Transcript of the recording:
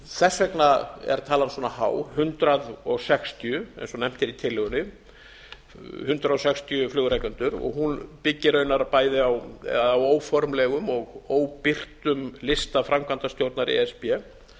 þess vegna er talan svona há hundrað sextíu eins og nefnt er í tillögunni hundrað sextíu flugrekendur hún byggir raunar bæði á eða á óformlegum og óbirtum lista framkvæmdastjórnar e s b